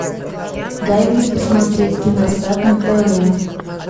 дай мне посмотреть киносад на тв